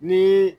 Ni